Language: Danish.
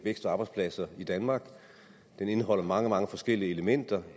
vækst og arbejdspladser i danmark den indeholder mange mange forskellige elementer